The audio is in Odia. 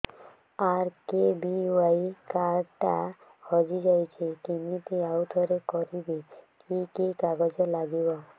ଆର୍.କେ.ବି.ୱାଇ କାର୍ଡ ଟା ହଜିଯାଇଛି କିମିତି ଆଉଥରେ କରିବି କି କି କାଗଜ ଲାଗିବ